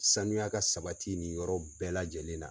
Sanuya ka sabati nin yɔrɔ bɛɛ lajɛlen na.